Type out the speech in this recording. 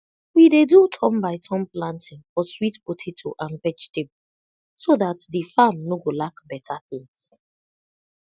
we dey do turn by turn planting for sweet potato and vegetable so that de farm no go lack beta tins